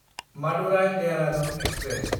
मादुराय–देहरादुन express